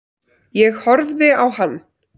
Ég horfði á hann.